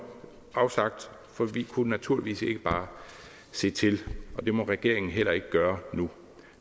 for vi kunne naturligvis ikke bare se til og det må regeringen heller ikke gøre nu